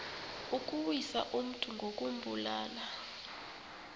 ukuwisa umntu ngokumbulala